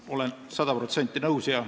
Olen sada protsenti nõus.